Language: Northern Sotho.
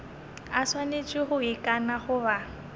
a swanetše go ikana goba